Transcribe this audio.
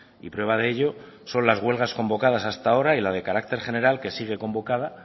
y prueba de ello son las huelgas convocadas hasta ahora y la de carácter general que sigue convocada